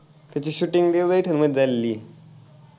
ते shooting मध्ये झालेली आहे.